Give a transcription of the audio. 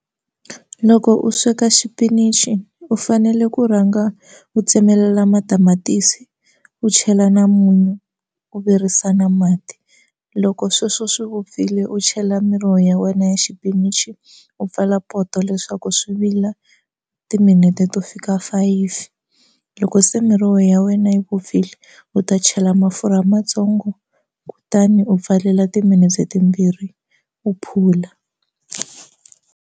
Loko u sweka xipinichi u fanele ku rhanga u tsemelela matamatisi u chela na munyu u virisa na mati loko sweswo swi vupfile u chela miroho ya wena ya xipinichi u pfala poto leswaku swi vila timinete to fika five loko se miroho ya wena yi vupfile u ta chela mafurha matsongo kutani u pfalela timinete timbirhi u phula.